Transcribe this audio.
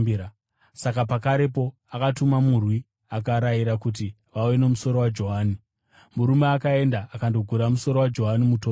Saka pakarepo akatuma murwi akarayira kuti vauye nomusoro waJohani. Murume akaenda akandogura musoro waJohani mutorongo,